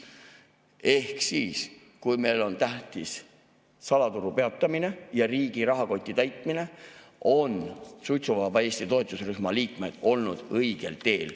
Ehk siis, kui meil on tähtis salaturu peatamine ja riigi rahakoti täitmine, on suitsuvaba Eesti toetusrühma liikmed olnud õigel teel.